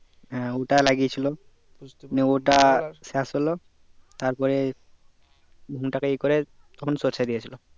হ্যাঁ ওটা লাগিয়েছিল নিয়ে ওটা শেষ হলো তারপরে ভুঙ টাকে ই করে তখন সরিষা দিয়েছিলো